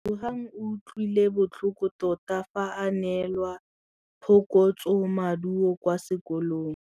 Lebogang o utlwile botlhoko tota fa a neelwa phokotsômaduô kwa sekolong.